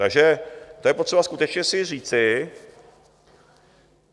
Takže to je potřeba skutečně si říci.